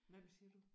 Hvem siger du?